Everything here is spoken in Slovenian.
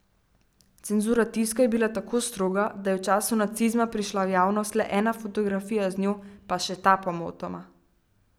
Cenzura tiska je bila tako stroga, da je v času nacizma prišla v javnost le ena fotografija z njo, pa še ta pomotoma.